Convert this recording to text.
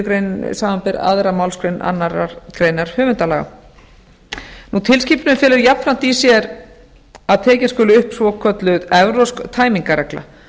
grein samanber aðra málsgrein annarrar grein höfundalaga tilskipunin felur jafnframt í sér að tekin skuli upp svokölluð evrópsk tæmingarregla